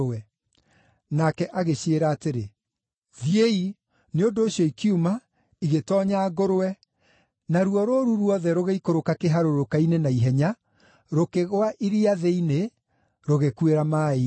Nake agĩciĩra atĩrĩ, “Thiĩi!” Nĩ ũndũ ũcio ikiuma, igĩtoonya ngũrwe, naruo rũũru ruothe rũgĩikũrũka kĩharũrũka-inĩ na ihenya, rũkĩgũa iria thĩinĩ, rũgĩkuĩra maaĩ-inĩ.